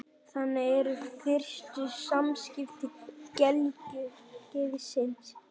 Þannig eru fyrstu samskipti gelgjuskeiðsins.